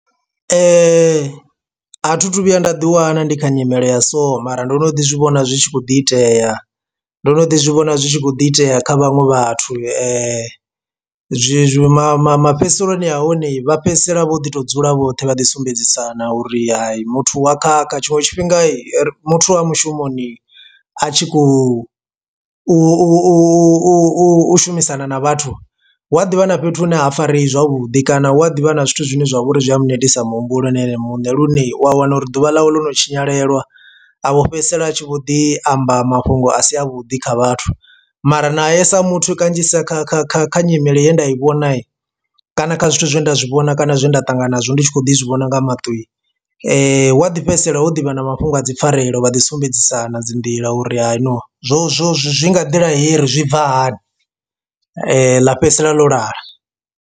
A thi thu vhuya nda ḓi wana ndi kha nyimele ya so mara ndo no ḓi zwivhona zwi tshi khou ḓi itea ndo no ḓi zwivhona zwi tshi khou ḓi itea kha vhaṅwe vhathu zwi ma ma mafhedziseloni a hone vha fhedzisela vho ḓi tou dzula vhoṱhe vha ḓi sumbedzisana uri hayi muthu wa khakha. Tshiṅwe tshifhinga muthu wa mushumoni a tshi khou u u u u u shumisana na vhathu hu a ḓivha na fhethu hune ha fareyi zwavhudi kana hu a ḓivha na zwithu zwine zwavha uri zwi a netisa muhumbulo na ene muṋe lune u a wana uri ḓuvha ḽawe ḽo no tshinyalelwa a vho fhedzisela a tshi vho ḓi amba mafhungo a si a vhuḓi kha vhathu. Mara nae sa muthu kanzhisa kha kha kha kha nyimele ye nda i vhona kana kha zwithu zwe nda zwi vhona kana zwe nda ṱangana nazwo ndi tshi kho ḓi zwivhona nga maṱo wa ḓi fhedzisela ho ḓivha na mafhungo a dzi pfarelo vha ḓi sumbedzisana dzi nḓila uri ha no zwo zwo zwi nga nḓila hei ri zwi bva hani ḽa fhedzisela ḽo lala.